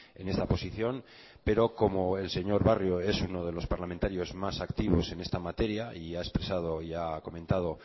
en esta posición pero como el señor barrio es uno de los parlamentarios más activos en esta materia y ha expresado y ha comentado